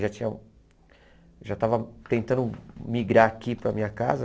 Já tinha já estava tentando migrar aqui para a minha casa.